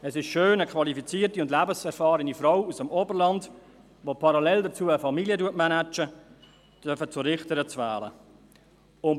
Es ist schön, eine qualifizierte und lebenserfahrene Frau aus dem Oberland, die parallel dazu eine Familie managt, zur Richterin wählen zu dürfen.